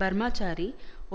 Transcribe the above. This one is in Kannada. ಬರ್ಮಚಾರಿ